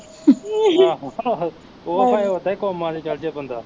ਆਹ ਆਹੋ ਓਹ ਭਾਂਵੇ ਓਦਾ ਈ ਕੌਮਾਂ ਨੂੰ ਚੱਲਜੇ ਬੰਦਾ